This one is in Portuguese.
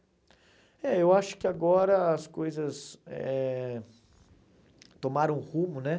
É, eu acho que agora as coisas eh tomaram rumo, né?